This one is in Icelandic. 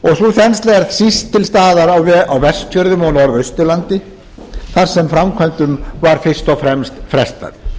þensla er síst til staðar á vestfjörðum og norðausturlandi þar sem framkvæmdum var fyrst og fremst frestað